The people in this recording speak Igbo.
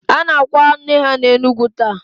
A na-akwa nne ha n'Enugu taa.